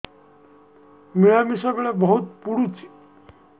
ମିଳାମିଶା ବେଳେ ବହୁତ ପୁଡୁଚି